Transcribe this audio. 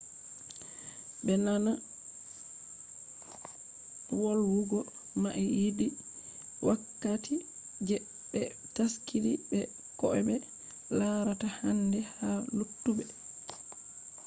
voldeji be wawata be lora be naana volwugo mai yidi wakkati je be taskidi be ko’be larata handi ha luttube